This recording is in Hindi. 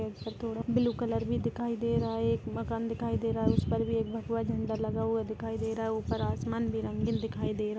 पेड़ पे थोडा ब्लू कलर भी दिखाई दे रहा है एक मकान भी दिखाई दे रहा है उस पर भी एक भगवा झंडा लगा हुआ दिखाई दे रहा है ऊपर आसमान भी रंगीन दिखाई दे रहा--